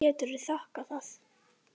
Hverju geturðu þakkað það?